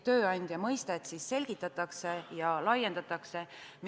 Tööandja mõistet seega selgitatakse ja laiendatakse.